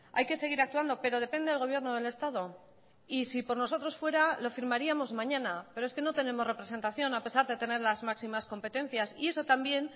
hay que seguir actuando pero depende del gobierno del estado y si por nosotros fuera lo firmaríamos mañana pero es que no tenemos representación a pesar de tener las máximas competencias y eso también